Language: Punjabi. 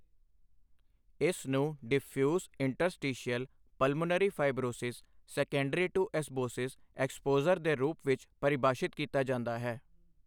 ਇਸ ਨੂੰ diffuse interstitial pulmonary fibrosis secondary to asbestos exposure ਦੇ ਰੂਪ ਵਿੱਚ ਪਰਿਭਾਸ਼ਿਤ ਕੀਤਾ ਜਾਂਦਾ ਹੈ।